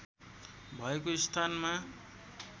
भएको स्थानमा